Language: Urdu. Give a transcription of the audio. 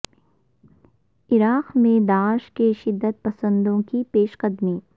عراق میں داعش کے شدت پسندوں کی پیش قدمی